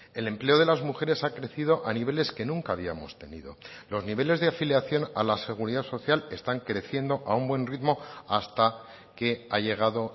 el empleo de las mujeres ha crecido a niveles que nunca habíamos tenido los niveles de afiliación a la seguridad social están creciendo a un buen ritmo hasta que ha llegado